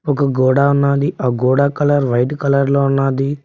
ఒక గోడ ఉన్నాది ఆ గోడ కలర్ వైట్ కలర్ లో ఉన్నాది.